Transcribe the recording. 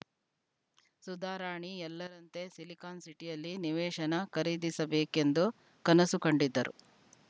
ಸುಧಾರಾಣಿ ಎಲ್ಲರಂತೆ ಸಿಲಿಕಾನ್‌ ಸಿಟಿಯಲ್ಲಿ ನಿವೇಶನ ಖರೀದಿಸಬೇಕೆಂದು ಕನಸು ಕಂಡಿದ್ದರು